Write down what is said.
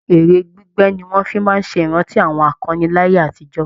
Eré gbígbẹ́ ni wọ́n fi máa ṣe ìrántí àwọn akọni láyé àtijọ́